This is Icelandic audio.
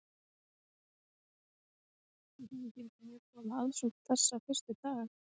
Þorbjörn: Hvernig kemur þú út úr þessu fjárhagslega?